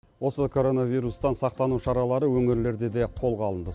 осы короновирустан сақтану шаралары өңірлерде де қолға алынды